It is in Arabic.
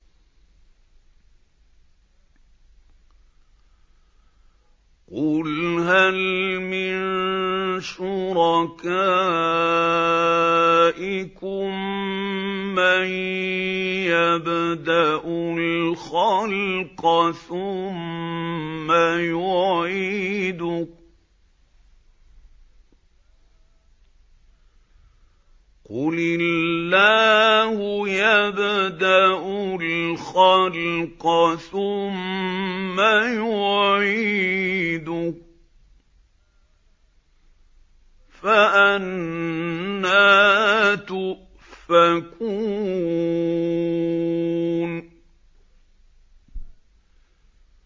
قُلْ هَلْ مِن شُرَكَائِكُم مَّن يَبْدَأُ الْخَلْقَ ثُمَّ يُعِيدُهُ ۚ قُلِ اللَّهُ يَبْدَأُ الْخَلْقَ ثُمَّ يُعِيدُهُ ۖ فَأَنَّىٰ تُؤْفَكُونَ